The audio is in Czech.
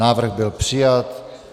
Návrh byl přijat.